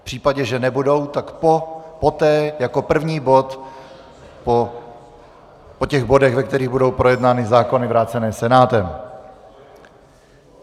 V případě, že nebudou, tak poté jako první bod po těch bodech, ve kterých budou projednány zákony vrácené Senátem.